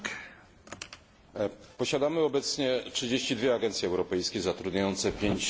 Posiadamy obecnie 32 agencje europejskie zatrudniające 5,5 tysiąca osób.